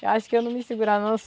Eu acho que eu não me segurava não.